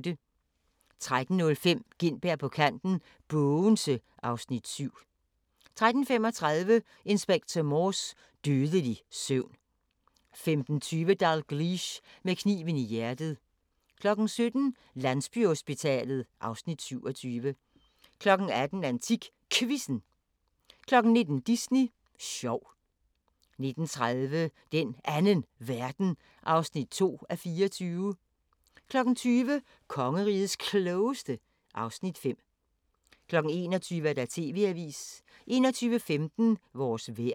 13:05: Gintberg på kanten – Bogense (Afs. 7) 13:35: Inspector Morse: Dødelig søvn 15:20: Dalgliesh: Med kniven i hjertet 17:00: Landsbyhospitalet (Afs. 27) 18:00: AntikQuizzen 19:00: Disney sjov 19:30: Den Anden Verden (2:24) 20:00: Kongerigets Klogeste (Afs. 5) 21:00: TV-avisen 21:15: Vores vejr